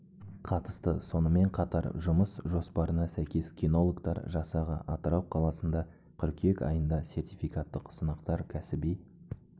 қатысты сонымен қатар жұмыс жоспарына сәйкес кинологтар жасағы атырау қаласында қыркүйек айында сертификаттық сынақтар кәсіби